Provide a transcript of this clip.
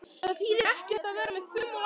Það þýðir ekkert að vera með fum og læti.